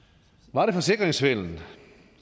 var det forsikringssvindel